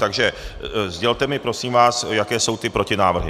Takže sdělte mi prosím vás, jaké jsou ty protinávrhy.